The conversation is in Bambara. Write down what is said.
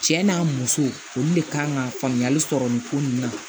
Cɛ n'a muso olu de kan ka faamuyali sɔrɔ nin ko ninnu na